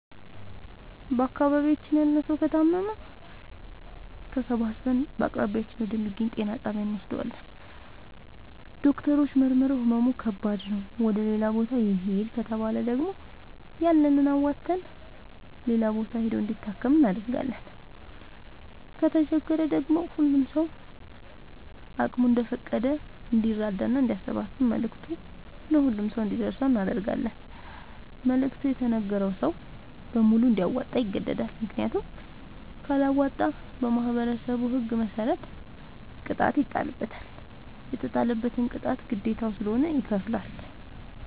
በአካባቢያችን ያለ ሠዉ ከታመመ ተሠባስበን በአቅራቢያችን ወደ ሚገኝ ጤና ጣቢያ እንወስደዋለን። ዶክተሮች መርምረዉ ህመሙ ከባድ ነዉ ወደ ሌላ ቦታ ይህድ ከተባለ ደግሞ ያለንን አዋተን ሌላ ቦታ ሂዶ እንዲታከም እናደርጋለን። ከተቸገረ ደግሞ ሁሉም ሰዉ አቅሙ እንደፈቀደ እንዲራዳና አንዲያሰባስብ መልዕክቱ ለሁሉም ሰው አንዲደርሰው እናደርጋለን። መልዕክቱ የተነገረዉ ሰዉ በሙሉ እንዲያወጣ ይገደዳል። ምክንያቱም ካለወጣ በማህበረሠቡ ህግ መሰረት ቅጣት ይጣልበታል። የተጣለበትን ቅጣት ግዴታዉ ስለሆነ ይከፍላል።